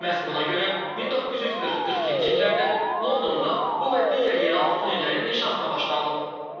Məhz buna görə 1940-42-ci illərdə Londonda bu və digər yeraltı tunellərin inşasına başlanılıb.